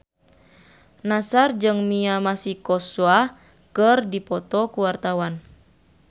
Nassar jeung Mia Masikowska keur dipoto ku wartawan